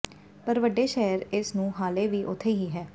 ਪਰ ਵੱਡੇ ਸ਼ਹਿਰ ਇਸ ਨੂੰ ਹਾਲੇ ਵੀ ਉੱਥੇ ਹੀ ਹੈ